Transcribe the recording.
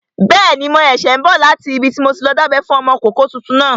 Bẹ́ẹ̀ni, mo ṣẹ̀ṣẹ̀ n bọ̀ láti ibi tí mo ti lọ dábẹ́ fún ọmọkọ́kọ́ tuntun náà